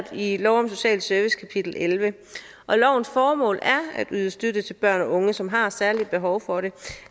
i lov om social service kapitel ellevte lovens formål er at yde støtte til børn og unge som har et særligt behov for det